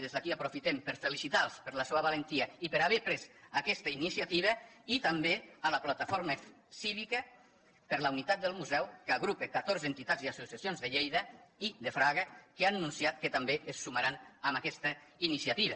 des d’aquí aprofitem per felicitar los per la seva valentia i per haver pres aquesta iniciativa i també a la plataforma cívica per la unitat del museu que agrupa catorze entitats i associacions de lleida i de fraga que han anunciat que també es sumaran a aquesta iniciativa